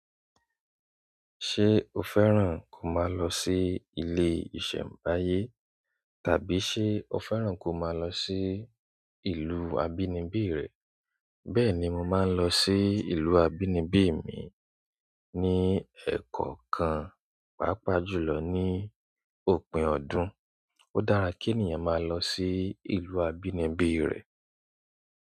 Ṣé o fẹ́ràn kó máa lọ sí ilé ìṣẹ̀mbáyé? Tàbí ṣé o fẹ́ràn kó máa lọ sí ìlú abínibí rẹ? Bẹ́ẹ̀ ni màá lọ sí ìlú abínibí mi ní ẹ̀kọ̀okan, pàápàá jùlọ ní òpin ọdún. Ó dára kí ènìyàn máa lọ sí ìlú abínibí rẹ̀.